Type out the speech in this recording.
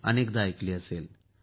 अनेकवार ऐकली असेल